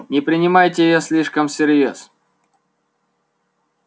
не принимайте её слишком всерьёз